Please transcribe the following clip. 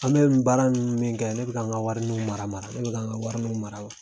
An be nin baara min kɛ , ne bi ka n ka warininw mara mara ne bi kan n ka warininw mara mara.